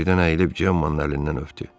O birdən əyilib Cemanın əlindən öptü.